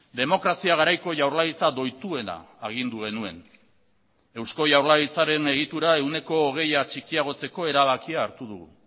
demokrazia garaiko jaurlaritza doituena agindu genuen eusko jaurlaritzaren egitura ehuneko hogeia txikiagotzeko erabakia hartu dugu